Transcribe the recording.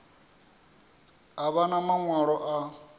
a vha na maṅwalo a